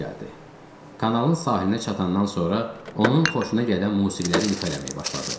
Kanalın sahilinə çatandan sonra onun xoşuna gələn musiqiləri ifa eləməyə başladıq.